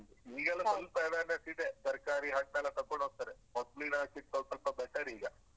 ಈಗ ಸ್ವಲ್ಪ awareness ಇದೆ ತರ್ಕಾರಿ ಹಣ್ಣೆಲ್ಲ ತಕೊಂಡ್ ಹೋಗ್ತಾರೆ ಮೊದ್ಲಾನಿಕ್ಕಿಂತ ಸ್ವಲ್ಪ್ ಸ್ವಲ್ಪ better ಈಗ.